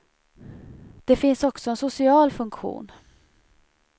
Det finns också en social funktion.